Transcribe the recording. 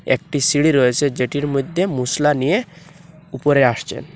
একটি সিঁড়ি রয়েসে যেটির মইধ্যে মশলা নিয়ে উপরে আসছেন।